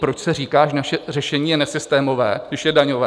Proč se říká, že naše řešení je nesystémové, když je daňové?